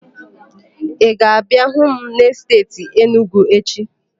Ị ga-abịa hụ m n'esteeti Enugwu echi?